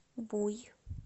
буй